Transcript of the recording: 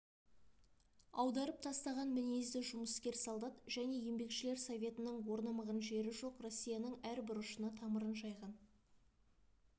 аударып тастаған мінезді жұмыскер солдат және еңбекшілер советінің орнамаған жері жоқ россияның әр бұрышына тамырын жайған